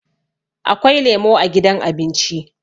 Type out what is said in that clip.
Akwai lemo a gidan abinci